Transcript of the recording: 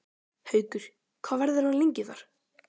Haukur: Hvað verður hann lengi þar?